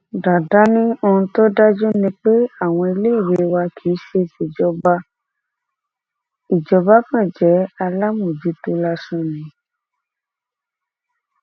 dàdá ní ohun tó dájú ni pé àwọn iléèwé wa kì í ṣe tìjọba ìjọba kan jẹ alámòjútó lásán ni